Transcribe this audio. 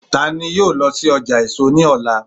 ta ni yíò lọ sí ọjà èso níọ̀lá